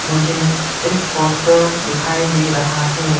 मुझे एक पोस्टर दिखाई दे रहा है।